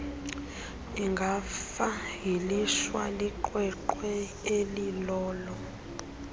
ingafayilishwa kwiqweqwe elilolo